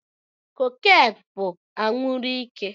Cocaine bú anwuru ike